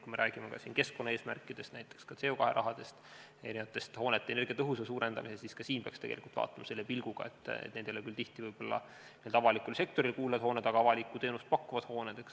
Kui me räägime ka siin keskkonnaeesmärkidest, näiteks ka CO2 rahast või hoonete energiatõhususe suurendamisest, siis ka siin peaks tegelikult vaatama selle pilguga, et need ei ole küll tihti n-ö avalikule sektorile kuuluvad hooned, aga on siiski avalikku teenust pakkuvad hooned.